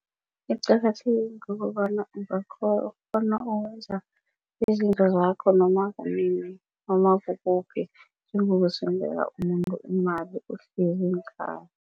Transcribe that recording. Iqakatheke ngokobana ungakghona ukwenza izinto zakho noma kunini noma kukuphi njengokusendela umuntu imali uhleli ngekhaya.